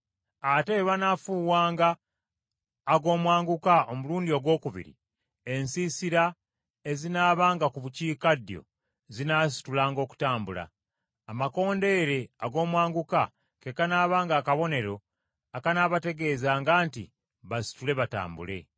Ate bwe banaafuuwanga ag’omwanguka omulundi ogwokubiri, ensiisira ezinaabanga mu bukiikaddyo, zinaasitulanga okutambula. Amakondeere ag’omwanguka ke kanaabanga akabonero akanaabategeezanga nti basitule batambule.